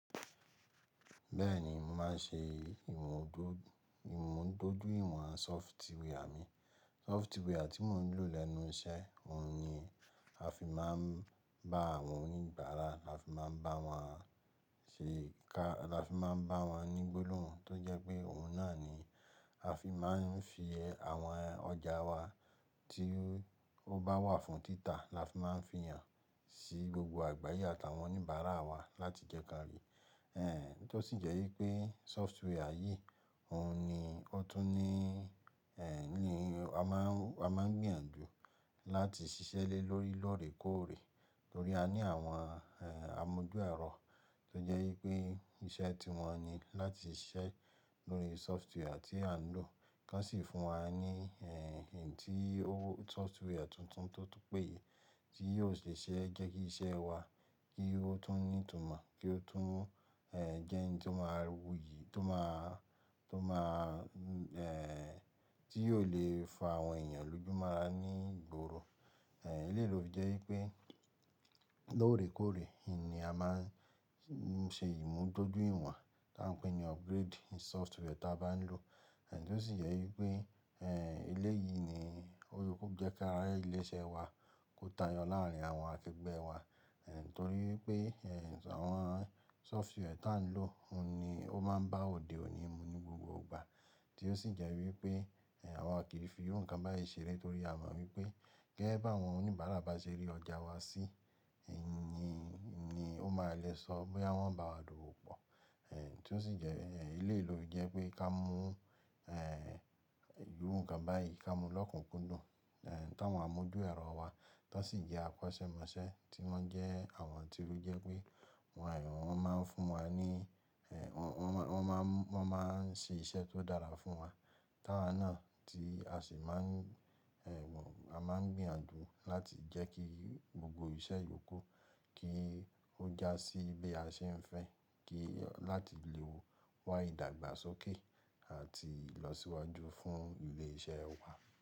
Bẹ́ẹ̀ni, mo máa ń ṣe ìmúdójúìwọ̀n sofware mi. Software tí mò ń lò lẹ́nu iṣẹ́, òun ni a fi máa ń bá àwọn oníbàárà, lafi máa ń bá wọn ṣe ká, lafi máa ń bá wọn ní gbólòhùn tó jẹ́ pé òun náà ni a fi máa ń fi àwọn ọjà wa tí ó bá wà fún títà lafi máa ń fihàn sí gbogbo àgbáyé àtàwọn oníbàárà wa láti jẹ́ kí wọ́n rí. Ẹ̀ tó sì jẹ́ wípé sofware yìí, òun ni ó tún ní, ẹ̀ ní, a máa ń, a máa ń gbìyànjú láti ṣiṣẹ́ lé lórí lóòrèkóòrè torí a ní àwọn amójúẹ̀rọ tó jẹ́ wípé iṣẹ́ tí wọ́n ní láti ṣiṣẹ́ lórí software tí à ń lò kí wọ́n sì sì fún wa ní ẹ̀, ohun tí software tuntun tó tún péye tí yóò ṣe ṣẹ́ jẹ́ kí iṣẹ́ wa kí ó tún ní ìtumọ̀, kí ó tún jẹ́ ǹkan tó máa wuyì, tó máa, tó máa, ẹ̀, tí yóò lè fa àwọn èèyàn lójú mọ́ra ní ìgboro. Ẹ̀, eléyìí ló jẹ́ wípé lóòrèkóòrè ní a máa ń ṣe ìmúdójúìwọ̀n tá a ń pè ní upgrade software tí a bá ń lò. Èyí tó sì jẹ́ wípé, ẹ̀, eléyìí ni ó jẹ́ ká rẹ ilé iṣẹ́ wa kó tayọ láàárín àwọn akẹgbẹ́ wa. Ẹ̀ torí pé, ẹ̀, àwọn software tí à ń lò, òun ni ó máa ń bá òde òní mu ní gbogbo ìgbà tí ó sì jẹ́ wípé àwa kìí fi irú nkan báyìí ṣeré torí a mọ̀ wípé gẹ́gẹ́ bí àwọn oníbàárà bá ṣe rí ọjà wa sí, ìní ni ó máa lè sọ bóyá wọ́n bá a dòwò pọ̀. Ẹ̀ tó sì jẹ́, eléyìí ló jẹ́ pé ká mú, ẹ̀, irú nǹkan báyìí ká mú lọ́kùnkúndùn, ẹ̀, táwọn amójúẹ̀rọ wa tó sì jẹ́ akọ́ṣẹ́mọṣẹ́ tí wọ́n jẹ́ àwọn tí ó jẹ́ pé wọ́n àìyan, wọ́n máa ń fún wa ní, ẹ̀, wọ́n máa ń, wọ́n máa ń ṣe iṣẹ́ tó dára fún wa. Tí àwa náà tí a sì máa ń, ẹ̀, wọ́n, a máa ń gbìyànjú láti jẹ́ kí gbogbo iṣẹ́ yòókù kí ó já sí bí a ṣe ń fẹ́ kí, láti lè wá ìdàgbàsókè àti ìlọsíwájú fún ilé iṣẹ́ wa.